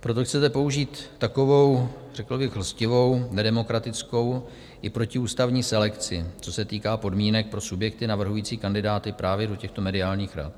Proto chcete použít takovou řekl bych lstivou, nedemokratickou i protiústavní selekci, co se týká podmínek pro subjekty navrhující kandidáty právě do těchto mediálních rad.